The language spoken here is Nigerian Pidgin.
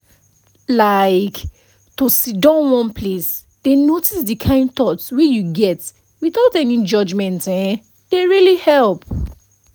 like to sidon one place dey notice the kind thoughts wey you get without any judgement[um]dey really help